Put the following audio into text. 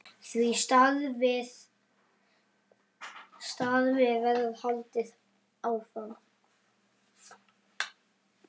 Því starfi verður haldið áfram.